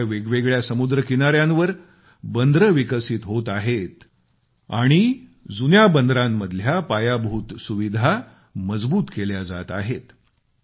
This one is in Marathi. भारताच्या वेगवेगळ्या समुद्र किनाऱ्यावर बंदरे विकसित होत आहेत आणि जुन्या बंदरांमधल्या पायाभूत सुविधा मजबूत केल्या जात आहेत